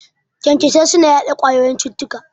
Kyankyasai suna yaɗa ƙwayoyin cututtuka